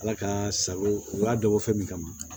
Ala ka sago u y'a dabɔ fɛn min kama